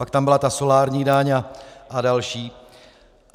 Pak tam byla ta solární daň a další.